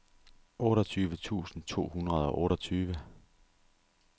otteogtyve tusind to hundrede og otteogtyve